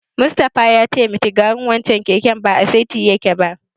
Mustapha ya ce mitigarin wancen keken ba a saiti yake ba.